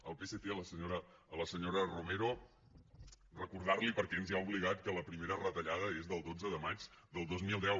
al psc a la senyora romero recordar li perquè ens hi ha obligat que la primera retallada és del dotze de maig del dos mil deu